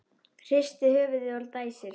Hristir höfuðið og dæsir.